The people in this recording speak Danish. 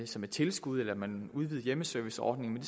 som et tilskud eller at man udvidede hjemmeserviceordningen